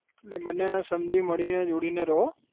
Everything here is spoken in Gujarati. અને બનેને સમજી મળીને જુડીને રહો